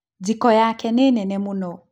Jiko yake nĩ nene mũno